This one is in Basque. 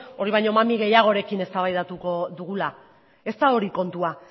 hori baino mami gehiagorekin eztabaidatuko dugula ez da hori kontua